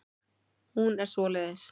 Hún er svoleiðis.